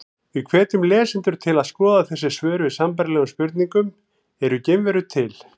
Við hvetjum lesendur til að skoða þessi svör við sambærilegum spurningum: Eru geimverur til?